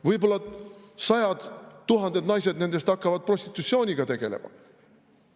Võib-olla sajad, tuhanded naised nendest hakkavad prostitutsiooniga tegelema.